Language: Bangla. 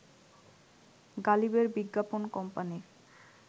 গালিবের বিজ্ঞাপন কোম্পানির